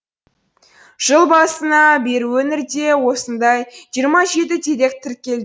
жыл басына бері өңірде осындай жиырма жеті дерек тіркелді